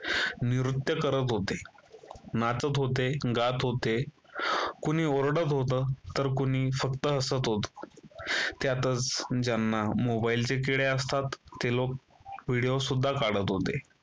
नृत्य करत होते, नाचत होते, गात होते, कोणी ओरडत होत, तर कोणी फक्त हसत होतं, त्यातच ज्यांना मोबाईल चे किडे असतात ते लोक व्हिडिओ सुद्धा काढत होते